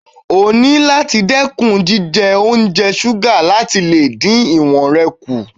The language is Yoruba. O nílò láti dẹ́kun jíjẹ oúnjẹ ṣúgà láti lè dín ìwọ̀n rẹ kù.